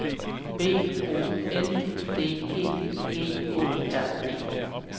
B O N D E G Å R D